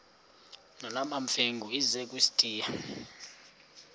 nolwamamfengu ize kusitiya